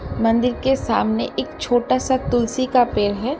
मंदिर के सामने एक छोटा सा तुलसी का पेड़ है।